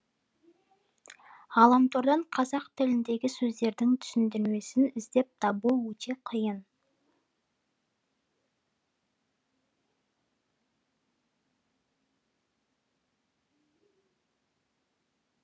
ғаламтордан қазақ тіліндегі сөздердің түсіндірмесін іздеп табу өте қиын